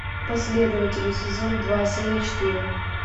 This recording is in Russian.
последователи сезон два серия четыре